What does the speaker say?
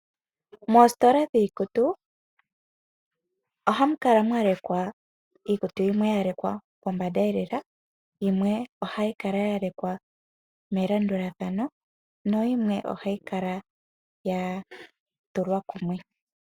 Moositolaa dhiikutu ohamukala mwalekwa iikutu yimwe yalekwa pombandeelela, yimwee ohayikala yalekwa melandulathano, nayimwe ohayikala yatulwa kumwe.